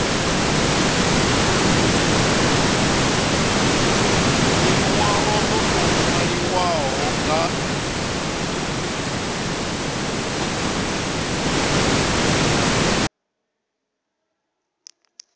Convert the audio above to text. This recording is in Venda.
linwalo lo tou nwaliwaho nga